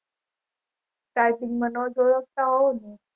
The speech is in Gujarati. starting થી મને નોજ ઓળખતા હોવ ને